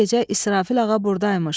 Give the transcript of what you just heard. Bu gecə İsrafil ağa burdaymış.